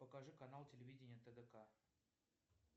покажи канал телевидение тдк